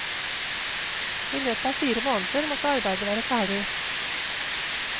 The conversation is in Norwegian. I løpet av fire måneder måtte arbeidet være ferdig.